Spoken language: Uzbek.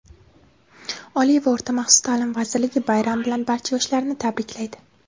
Oliy va o‘rta maxsus taʼlim vazirligi bayram bilan barcha yoshlarni tabriklaydi!.